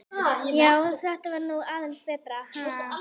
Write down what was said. Já, þetta var nú aðeins betra, ha!